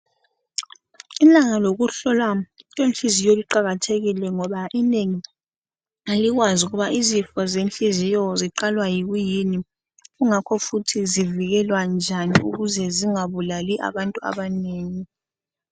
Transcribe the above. Ilanga lokuhlola inhliziyo liqakathekile ngoba inengi alikwazi ukuba izifo lenhliziyo ziqalwa yikuyini kungakho futhi zivikelwa njani ukuthi zingabulali abantu abanengi.